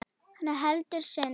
Hann heldur synd